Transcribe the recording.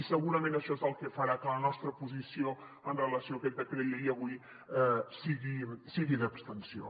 i segurament això és el que farà que la nostra posició amb relació a aquest decret llei avui sigui d’abstenció